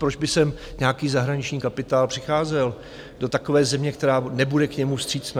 Proč by sem nějaký zahraniční kapitál přicházel do takové země, která nebude k němu vstřícná?